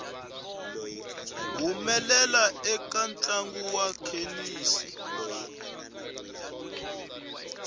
humelela eka ntlangu wa thenisi